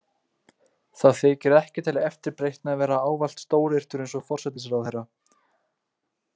Það þykir ekki til eftirbreytni að vera ávallt stóryrtur eins og forsætisráðherra.